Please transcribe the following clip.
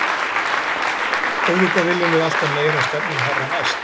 Auðvitað viljum við alltaf meira og stefnum hærra næst.